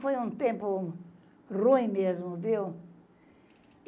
Foi um tempo ruim mesmo, viu?